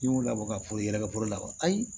N y'o labɔ ka foro ye yɛrɛ ka foro labɔ ayi